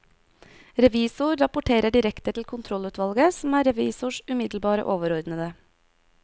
Revisor rapporterer direkte til kontrollutvalget som er revisors umiddelbare overordnede.